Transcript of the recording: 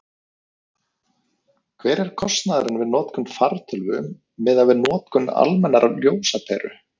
hver er kostnaðurinn við notkun fartölvu miðað við notkun almennrar ljósaperu